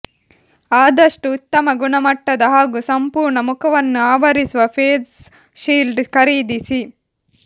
ಆದಷ್ಟುಉತ್ತಮ ಗುಣಮಟ್ಟದ ಹಾಗೂ ಸಂಪೂರ್ಣ ಮುಖವನ್ನು ಆವರಿಸುವ ಫೇಸ್ ಶೀಲ್ಡ್ ಖರೀದಿಸಿ